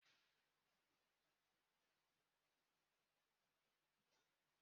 nne nne m nwuru n'ubochi monde n'izu uka gara aga